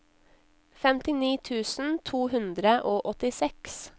femtini tusen to hundre og åttiseks